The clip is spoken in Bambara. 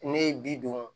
Ne ye bi duuru